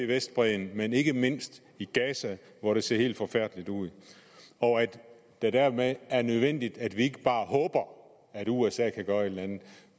vestbredden men ikke mindst i gaza hvor det ser helt forfærdeligt ud og at det dermed er nødvendigt at vi ikke bare håber at usa kan gøre et eller andet